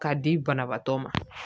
K'a di banabaatɔ ma